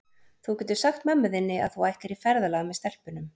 Þú getur sagt mömmu þinni að þú ætlir í ferðalag með stelpunum.